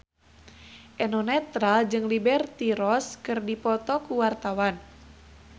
Eno Netral jeung Liberty Ross keur dipoto ku wartawan